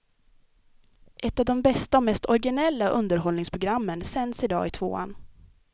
Ett av de bästa och mest originella underhållningsprogrammen sänds idag i tvåan.